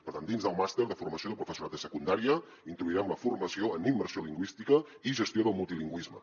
per tant dins del màster de formació de professorat de secundària introduirem la formació en immersió lingüística i gestió del multilingüisme